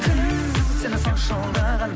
кім сені сонша алдаған